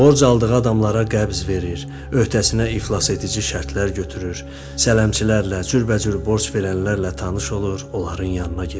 Borc aldığı adamlara qəbz verir, öhdəsinə iflas edici şərtlər götürür, sələmçilərlə, cürbəcür borc verənlərlə tanış olur, onların yanına gedirdi.